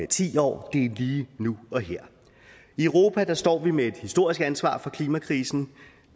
ti år det er lige nu og her i europa står vi med et historisk ansvar for klimakrisen